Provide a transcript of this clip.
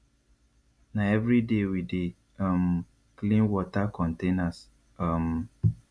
na everyday we dey um clean water containers um